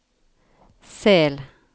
Sel